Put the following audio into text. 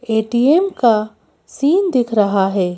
ATM का scene दिख रहा है।